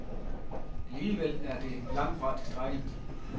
Alligevel er det langtfra tilstrækkeligt.